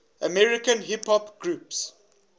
american hip hop groups